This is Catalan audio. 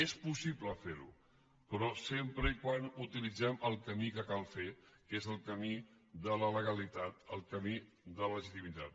és possible fer·ho però sempre que utilitzem el camí que cal fer que és el camí de la legalitat el camí de la legitimi·tat